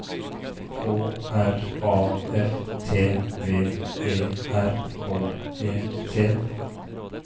K R A F T V E R K E T